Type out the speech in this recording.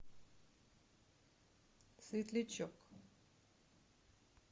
светлячок